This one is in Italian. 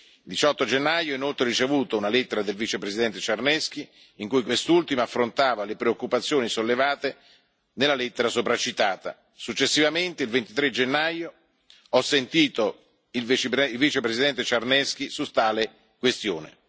Il 18 gennaio ho inoltre ricevuto una lettera del vicepresidente Czarnecki, in cui quest'ultimo affrontava le preoccupazioni sollevate nella lettera sopracitata. Successivamente, il 23 gennaio ho sentito il vicepresidente Czarnecki su tale questione.